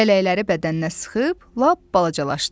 Lələkləri bədəninə sıxıb lap balacalaşdı.